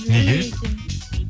неге неге екен